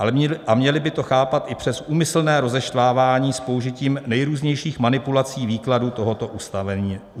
A měli by to chápat i přes úmyslné rozeštvávání s použitím nejrůznějších manipulací výkladů tohoto ustanovení návrhu.